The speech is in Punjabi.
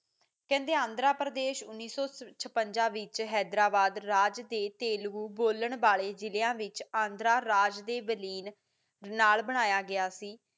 ਕਹਿੰਦੇ ਆਂਧਰਾ ਪ੍ਰਦੇਸ਼ ਉਨ੍ਹੇ ਸੋ ਛਪੰਜਾ ਵਿੱਚ ਹੈਦਰਾਬਾਦ ਰਾਜ ਦੇ ਤੇਲਗੂ ਬੋਲਾਂ ਵਾਲੇ ਜਿਲਿਆਂ ਵਿੱਚ ਆਂਦਰਾਂ ਰਾਜ ਦੇ ਵਲੀਨ ਨਾਲ ਬਣਾਇਆ ਗਿਆ ਸੀ